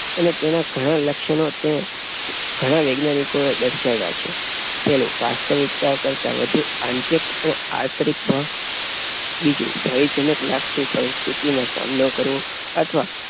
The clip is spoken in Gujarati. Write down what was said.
અને તેના ઘણા લક્ષણો તે ઘણા વૈજ્ઞાનિકોએ દર્શવા છે. પેલું વાસ્તવિક્તા કરતાં વધુ આત્યંતિક અને અતાર્કિક ભય. બીજું ભયજનક લાગતી પરિસ્થિતિનો સામનો કરવો